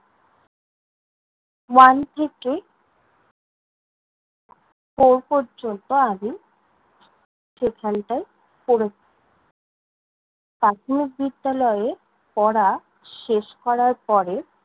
One থেকে four পর্যন্ত আমি সেখানটায় পড়েছি। প্রাথমিক বিদ্যালয়ে পড়া শেষ করার পরে,